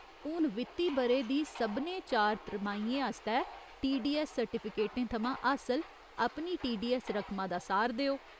हून वित्ती ब'रे दी सभनें चार त्रमाहियें आस्तै टीडीऐस्स सर्टिफिकेटें थमां हासल अपनी टीडीऐस्स रकमा दा सार देओ।